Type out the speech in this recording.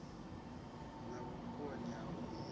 na vhukoni ha u ita